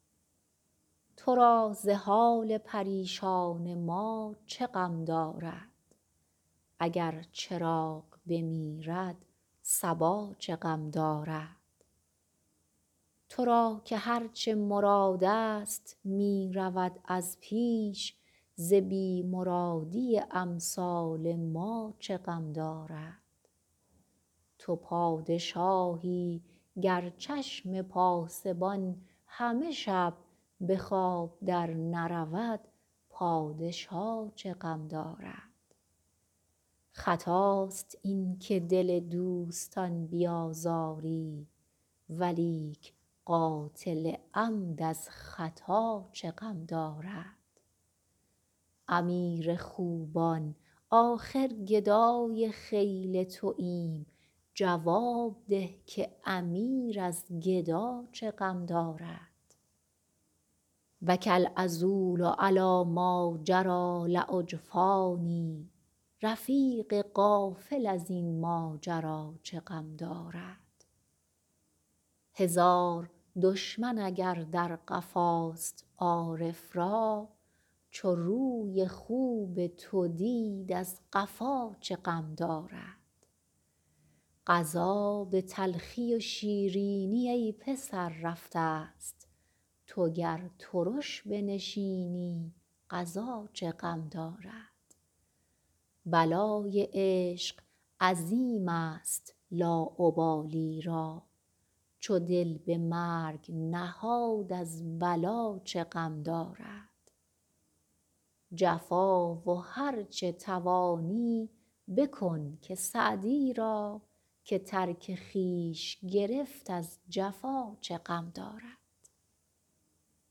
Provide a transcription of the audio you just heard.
تو را ز حال پریشان ما چه غم دارد اگر چراغ بمیرد صبا چه غم دارد تو را که هر چه مرادست می رود از پیش ز بی مرادی امثال ما چه غم دارد تو پادشاهی گر چشم پاسبان همه شب به خواب درنرود پادشا چه غم دارد خطاست این که دل دوستان بیازاری ولیک قاتل عمد از خطا چه غم دارد امیر خوبان آخر گدای خیل توایم جواب ده که امیر از گدا چه غم دارد بکی العذول علی ماجری لاجفانی رفیق غافل از این ماجرا چه غم دارد هزار دشمن اگر در قفاست عارف را چو روی خوب تو دید از قفا چه غم دارد قضا به تلخی و شیرینی ای پسر رفتست تو گر ترش بنشینی قضا چه غم دارد بلای عشق عظیمست لاابالی را چو دل به مرگ نهاد از بلا چه غم دارد جفا و هر چه توانی بکن که سعدی را که ترک خویش گرفت از جفا چه غم دارد